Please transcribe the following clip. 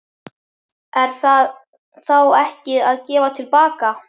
Er það þá ekki að gefa til baka?